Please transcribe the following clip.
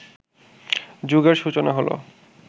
যুগের সূচনা হলো